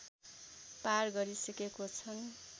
पार गरिसकेको छ